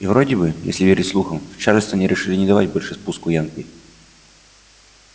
и вроде бы если верить слухам в чарльстоне решили не давать больше спуску янки